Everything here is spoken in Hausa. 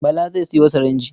Bala zai sayo sirinji.